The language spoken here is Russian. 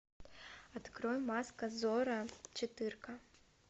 открой маска зорро четыре ка